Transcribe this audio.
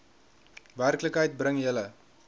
werklikheid bring julle